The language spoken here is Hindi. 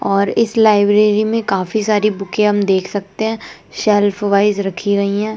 और इस लाइब्रेरी में काफी सारी बुकें हम देख सकते हैं शेल्फ वाइज रखी गई है।